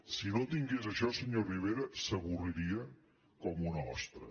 si no tingués això senyor rivera s’avorriria com una ostra